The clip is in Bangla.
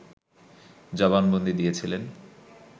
জবানবন্দী দিয়েছিলেন